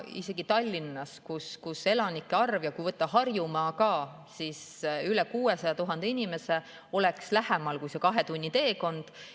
Tallinnas, kui võtta Harjumaa ka, on elanike arv üle 600 000 inimese ja võiks olla lähemal kui kahe tunni teekond.